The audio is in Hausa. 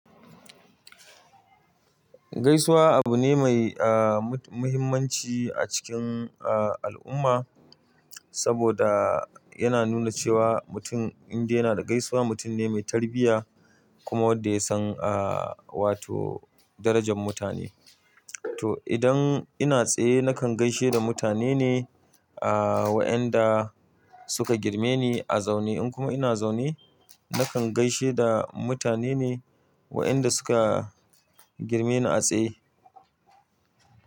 Gaisuwa abu ne mai, ah, mu- Muhimmanci a cikin, ah, al'umma, saboda yana nuna cewa mutum in dai yana da gaisuwa, mutum ne mai tarbiyya kuma wanda ya san, ah, wato darajan mutane. To idan ina tsaye nakan gaishe da mutane ne, ah, wa'anda suka girme ni a zaune. In kuma ina zaune, nakan gaishe da mutane ne wa'anda suka girme ni a tsaye.